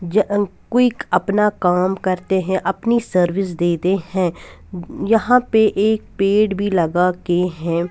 ज क्विक अपना काम करते हैं अपनी सर्विस देते हैं यहां पे एक पेड़ भी लगा के हैं.